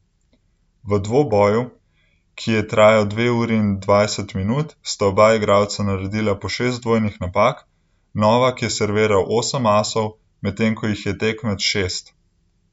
V dvoboju, ki je trajal dve uri in dvajset minut , sta oba igralca naredila po šest dvojnih napak, Novak je serviral osem asov, medtem, ko jih je tekmec šest.